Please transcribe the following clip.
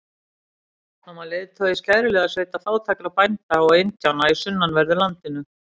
Hann var leiðtogi skæruliðasveita fátækra bænda og indjána í sunnanverðu landinu.